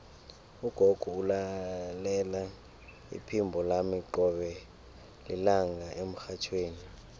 ugogo ulalela iphimbo lami qobe lilanga emrhatjhweni